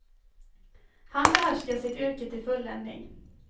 Han behärskar sitt yrke till fulländning.